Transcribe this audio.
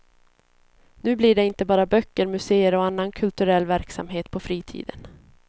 Nu blir det inte bara böcker, museer och annan kulturell verksamhet på fritiden.